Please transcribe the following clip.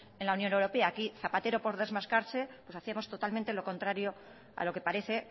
en la unión europea aquí zapatero por desmarcarse pues hacíamos totalmente lo contrario a lo que parece